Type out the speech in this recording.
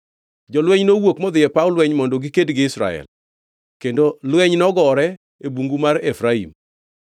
Jolweny nowuok modhi e paw lweny mondo giked gi Israel, kendo lweny nogore e bungu mar Efraim.